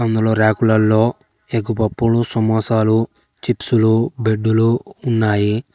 రాకులలో egg పప్పు సమోసాలు చిప్సులు బెడ్డులు ఉన్నాయి.